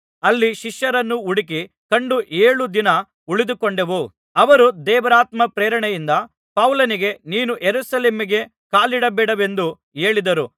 ಅಲ್ಲಿ ಶಿಷ್ಯರನ್ನು ಹುಡುಕಿ ಕಂಡು ಏಳು ದಿನ ಉಳಿದುಕೊಂಡೆವು ಅವರು ದೇವರಾತ್ಮನ ಪ್ರೇರಣೆಯಿಂದ ಪೌಲನಿಗೆ ನೀನು ಯೆರೂಸಲೇಮಿಗೆ ಕಾಲಿಡಬೇಡವೆಂದು ಹೇಳಿದರು